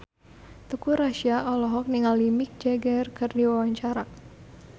Teuku Rassya olohok ningali Mick Jagger keur diwawancara